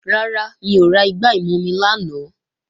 Rárá, mi ò ra igbá ìmumi lánàá